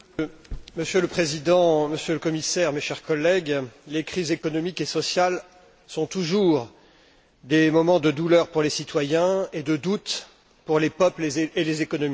Monsieur le Président, Monsieur le Commissaire, mes chers collègues, les crises économiques et sociales sont toujours des moments de douleur pour les citoyens et de doute pour les peuples et les économies.